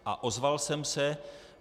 A ozval jsem se.